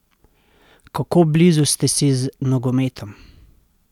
Kako blizu ste si z nogometom?